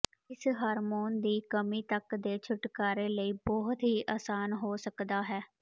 ਇਸ ਹਾਰਮੋਨ ਦੀ ਕਮੀ ਤੱਕ ਦੇ ਛੁਟਕਾਰੇ ਲਈ ਬਹੁਤ ਹੀ ਆਸਾਨ ਹੋ ਸਕਦਾ ਹੈ